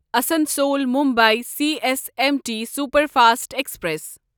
Asansol Mumbai C S M T superfast express